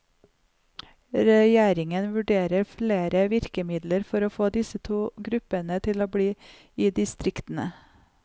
Regjeringen vurderer flere virkemidler for å få disse to gruppene til å bli i distriktene.